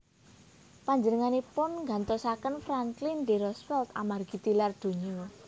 Panjenenganipun nggantosaken Franklin D Roosevelt amargi tilar donya